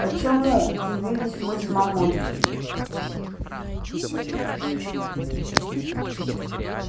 почему удивились мы с мамулькой